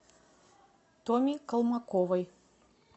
томе колмаковой